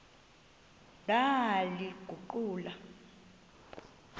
ndaliguqula